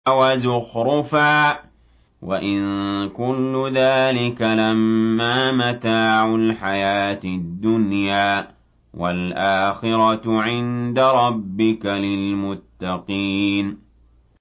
وَزُخْرُفًا ۚ وَإِن كُلُّ ذَٰلِكَ لَمَّا مَتَاعُ الْحَيَاةِ الدُّنْيَا ۚ وَالْآخِرَةُ عِندَ رَبِّكَ لِلْمُتَّقِينَ